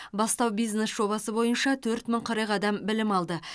бастау бизнес жобасы бойынша төрт мың қырық адам білім алды